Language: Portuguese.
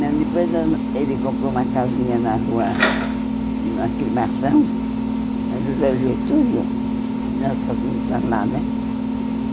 Não, depois nós nós ele comprou uma casinha na rua, na cremação, no Zé Getúlio, e nós passamos para lá, né?